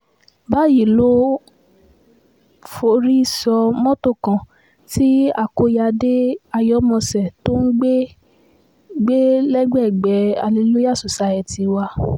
báyìí ló forí sọ mọ́tò kan tí akopyade ayomose tó ń gbé gbé lágbègbè hallelúyàh society wà